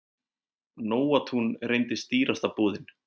Nóatún reyndist dýrasta búðin.